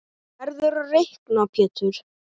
Þú verður að reikna Pétur.